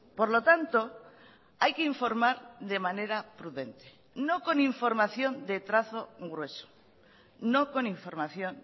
por lo tanto hay que informar de manera prudente no con información de trazo grueso no con información